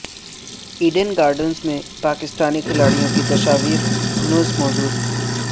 Eden Gardens میں پاکستانی کھلاڑیوں کی تصاویر ہنوز موجود